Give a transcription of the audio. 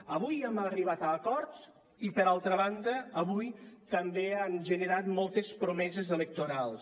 avui hem arribat a acords i per altra banda avui també han generat moltes promeses electorals